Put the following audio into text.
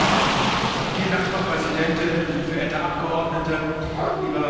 Frau Präsidentin, verehrte Abgeordnete, lieber Herr Kommissar!